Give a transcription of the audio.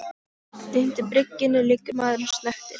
Undir bryggjunni liggur maður og snöktir.